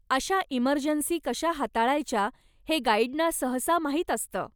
अशा इमर्जन्सी कशा हाताळायच्या हे गाईडना सहसा माहीत असतं.